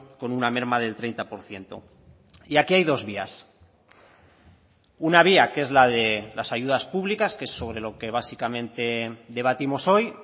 con una merma del treinta por ciento y aquí hay dos vías una vía que es la de las ayudas públicas que es sobre lo que básicamente debatimos hoy